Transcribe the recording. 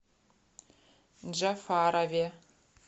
джафарове